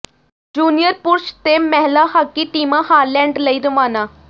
junior ਪੁਰਸ਼ ਤੇ ਮਹਿਲਾ ਹਾਕੀ ਟੀਮਾਂ ਹਾਲੈਂਡ ਲਈ ਰਵਾਨਾ